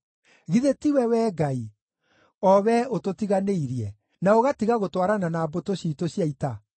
Githĩ tiwe, Wee Ngai, o Wee ũtũtiganĩirie, na ũgatiga gũtwarana na mbũtũ ciitũ cia ita?